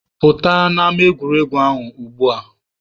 Pụta n'ama egwuregwu ahụ ugbua!